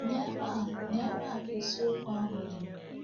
N’ebe a N’ebe a ka isi okwu ahụ dị.